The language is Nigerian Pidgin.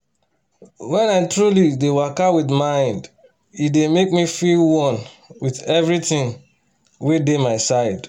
wen i truly dey waka with mind e dey make me feel one with everything wey dey my side